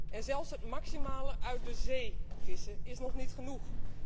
En zelfs het maximale uit de zee vissen is nog niet genoeg.